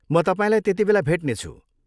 म तपाईँलाई त्यतिबेला भेट्नेछु।